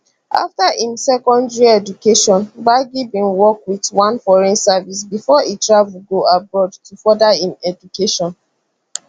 after im secondary education gbagi bin work wit one foreign service bifor e travel go abroad to further im education